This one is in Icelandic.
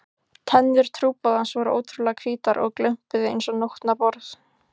Tennur trúboðans voru ótrúlega hvítar og glömpuðu einsog nótnaborð.